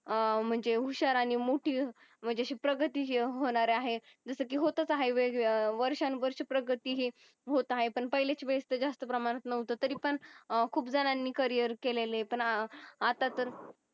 अह म्हंजे हुशार आणि मोठी म्हंजे शुक्र गती होणार आहे जस कि होतच आहे वेग वेगळ्या वर्षानुवर्षी प्रगती हि होत आहे पण पहिलीच वेळ जास्त प्रमाणात नव्हत तरी पण खूप जनांनी करियर केलेले पण अत्ता तर